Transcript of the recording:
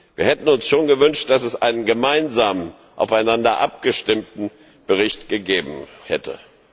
Wir hätten uns schon gewünscht, dass es einen gemeinsam aufeinander abgestimmten Bericht gegeben hätte.